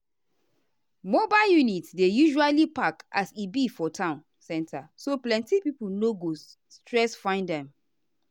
mobile units dey usually park as e be for town center so plenty pipo no go stress find them.